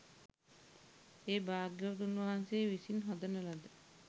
ඒ භාග්‍යවතුන් වහන්සේ විසින් හදන ලද